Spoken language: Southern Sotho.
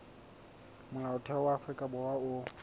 molaotheo wa afrika borwa o